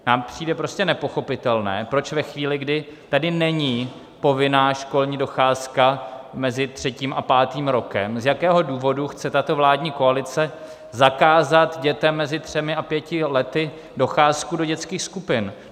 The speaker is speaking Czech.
Nám přijde prostě nepochopitelné, proč ve chvíli, kdy tady není povinná školní docházka mezi třetím a pátým rokem, z jakého důvodu chce tato vládní koalice zakázat dětem mezi třemi a pěti lety docházku do dětských skupin.